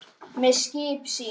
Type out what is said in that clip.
með skip sín